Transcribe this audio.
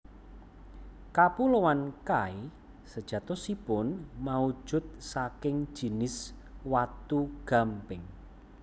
Kapuloan Kai sejatosipun maujud saking jinis watu gamping